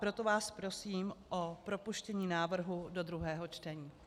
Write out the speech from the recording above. Proto vás prosím o propuštění návrhu do druhého čtení.